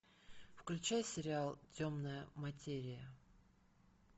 включай сериал темная материя